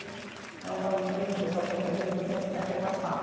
O pessoal brinca, às vezes, que eu tenho a tecla sap.